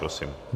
Prosím.